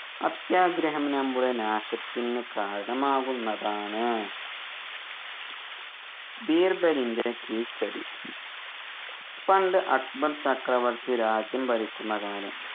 അത്യാഗ്രഹം നമ്മുടെ നാശത്തിന് കാരണമാകുന്നതാണ് ബീർബലിൻറെ കീഴ്‌ച്ചെടി പണ്ട് അക്ബർ ചക്രവർത്തി രാജ്യം ഭരിക്കുന്ന കാലം